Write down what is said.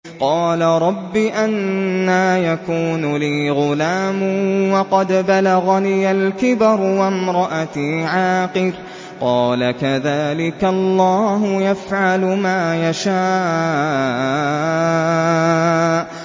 قَالَ رَبِّ أَنَّىٰ يَكُونُ لِي غُلَامٌ وَقَدْ بَلَغَنِيَ الْكِبَرُ وَامْرَأَتِي عَاقِرٌ ۖ قَالَ كَذَٰلِكَ اللَّهُ يَفْعَلُ مَا يَشَاءُ